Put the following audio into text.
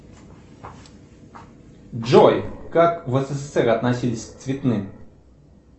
джой как в ссср относились к цветным